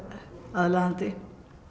aðlaðandi